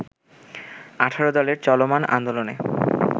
১৮ দলের চলমান আন্দোলনে